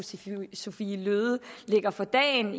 sophie løhde lægger for dagen